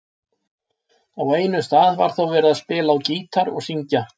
Á einum stað var þó verið að spila á gítar og syngja.